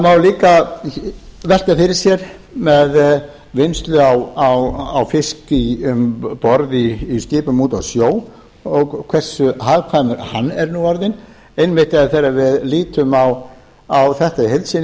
líka velta fyrir sér með vinnslu á fiski um borð í skipum úti á sjó og hversu hagkvæmur hann er nú orðinn einmitt þegar við lítum á þetta í heild sinni